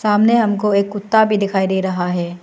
सामने हमको एक कुत्ता भी दिखाई दे रहा है।